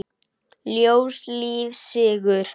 Ljós, líf, sigur.